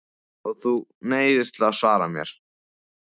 Og þú neyðist til að svara mér.